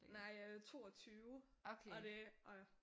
Nej øh 22 og det og